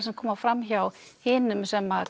sem koma fram hjá hinum sem